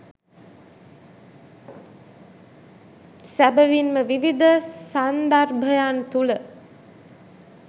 සැබැවින්ම විවිධ සන්දර්භයන් තුළ